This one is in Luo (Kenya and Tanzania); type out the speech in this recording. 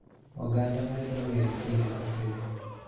Oganda medo ng'eye pile ka pile.